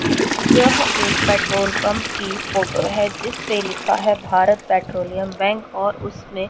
यह एक petrol pump की फोटो है जिसपे लिखा है भारत पेट्रोलियम बैंक और उसमें--